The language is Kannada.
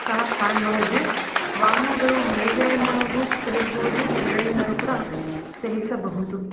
ಸಹ ಕಾಣಬಹುದು ವಾಹನಗಳು ಮೇಲ್ಗಡೆ ಇಂದಗು ಚಲಿಸಬಹುದು ಕೆಲ್ಗಡೆ ಇಂದನು ಕೂಡ ಚಲಿಸಬಹುದು.